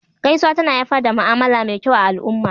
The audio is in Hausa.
Gaisuwa tana haifar da ma'amala me kyau a al'umma